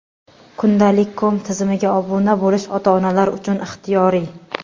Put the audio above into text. Kundalik.com tizimiga obuna bo‘lish ota-onalar uchun ixtiyoriy.